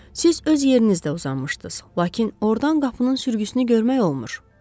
Siz öz yerinizdə uzanmışdız, lakin ordan qapının sürgüsünü görmək olmur.